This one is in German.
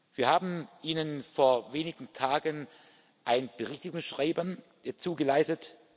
Wir haben Ihnen vor wenigen Tagen ein Berichtigungsschreiben zugeleitet.